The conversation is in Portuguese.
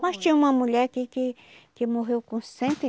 Mas tinha uma mulher aqui que que morreu com cento e.